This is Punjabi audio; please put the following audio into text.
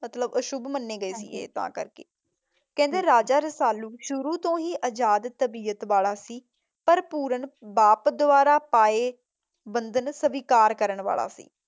ਮਤਲਬ ਅਸ਼ੁਭ ਮੱਨੇ ਗਏ? ਹਾਂਜੀ, ਕਹਿੰਦੇ ਰਾਜਾ ਰਸਾਲੂ ਸ਼ੁਰੂ ਤੋਂ ਹੀ ਆਜ਼ਾਦ ਤਬੀਅਤ ਵਾਲਾ ਸੀ ਪਰ ਪੁਰਨ ਬਾਪ ਦੁਆਰਾ ਪਾਏ ਬੰਧਨ ਸਵੀਕਾਰ ਕਰਨ ਵਾਲਾ ਸੀ।